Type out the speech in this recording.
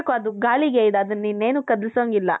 ಗಾಳಿಗೆ ಅದ್ದನ್ ಇನ್ ಏನು ಕದಲ್ಸಂಗ್ ಇಲ್ಲ .